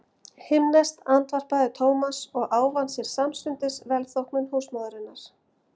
Himneskt andvarpaði Thomas og ávann sér samstundis velþóknun húsmóðurinnar.